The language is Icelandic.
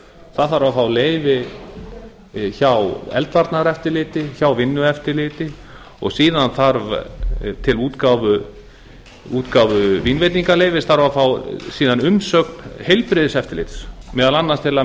það þarf að fá leyfi hjá eldvarnaeftirliti hjá vinnueftirliti og síðan þarf til útgáfu vínveitingaleyfis þarf að fá umsögn heilbrigðiseftirliti meðal annars til að